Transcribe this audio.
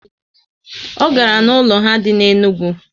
O gara na ụlọ ha dị na Enugwu